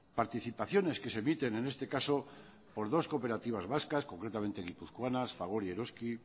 participaciones que se emiten en este caso por dos cooperativas vascas concretamente guipuzcoanas fagor y eroski